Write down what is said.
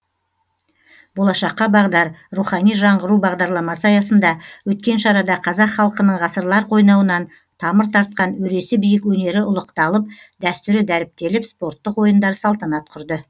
болашаққа бағдар рухани жаңғыру бағдарламасы аясында өткен шарада қазақ халқының ғасырлар қойнауынан тамыр тартқан өресі биік өнері ұлықталып дәстүрі дәріптеліп спорттық ойындар салтанат құрды